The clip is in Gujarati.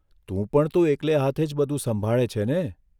તું પણ તો એકલે હાથે જ બધું સંભાળે છે ને?